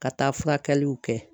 Ka taa furakɛliw kɛ